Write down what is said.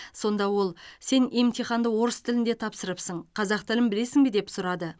сонда ол сен емтиханды орыс тілінде тапсырыпсың қазақ тілін білесің бе деп сұрады